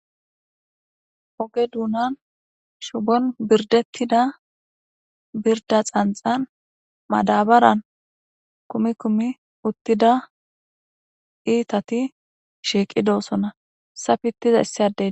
oge duunan shubon birdettida birda xanxan madabaran kumi kumi uttida iitati shiiqidoossona sa pittiza issi adey